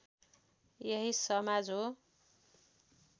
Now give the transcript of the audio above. यही समाज हो